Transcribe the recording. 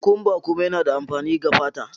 Cucumber kuma yana da amfani ga fata.